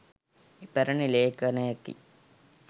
ඉපැරණි ලේඛණයකි.